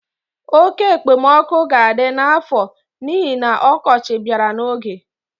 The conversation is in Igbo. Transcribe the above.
Oke ekpemoku ga-adi n'afọ n'ihi na ọkọchị bịara n'oge.